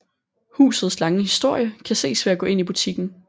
Husets lange historie kan ses ved at gå ind i butikken